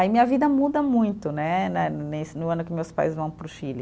Aí minha vida muda muito né, né nesse, no ano que meus pais vão para o Chile.